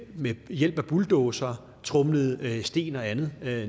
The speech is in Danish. ved hjælp af bulldozere tromlede sten og andet